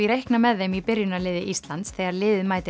reikna með þeim í byrjunarliði Íslands þegar liðið mætir